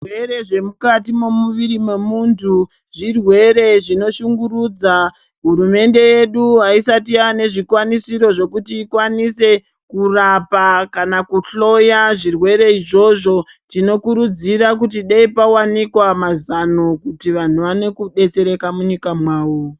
Zvirwere zvemukati zvemumwiri wemuntu zvirwere zvinoshungurudza. Hurumende yedu haisati yane zvikwanisiro zvekuti ikwanise kurapa kana kuhloya zvirwere izvozvo. Tinokurudzirwa kuti dei pawanikwa mazano vanhu vaone kudetsereka munyika mwawo.